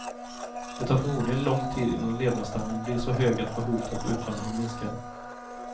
Det tar förmodligen lång tid innan levnadsstandarden blir så hög att behovet av utvandring minskar.